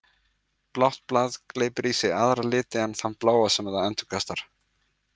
Blátt blað gleypir í sig aðra liti en þann bláa sem það endurkastar.